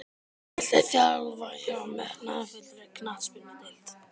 Viltu þjálfa hjá metnaðarfullri knattspyrnudeild?